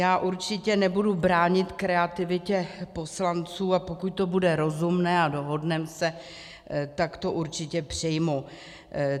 Já určitě nebudu bránit kreativitě poslanců, a pokud to bude rozumné a dohodneme se, tak to určitě přijmu.